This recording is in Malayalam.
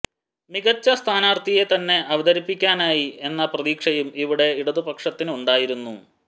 മികച്ച സ്ഥാനാർഥിയെ തന്നെ അവതരിപ്പിക്കാനായി എന്ന പ്രതീക്ഷയും ഇവിടെ ഇടതു പക്ഷത്തിനുണ്ടായിരുന്നു